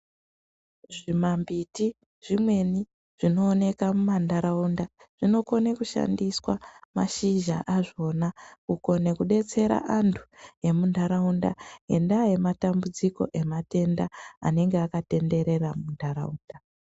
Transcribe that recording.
Zvimamhpiti zvimweni zvinooneka mumantaraunda zvinokone kushandiswa mashizha azvona kukone kudetsera antu emuntaraunda ngendaa yematambudziko ematenda anenge akatenderera muntaraunda.